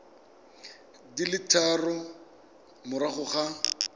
di le tharo morago ga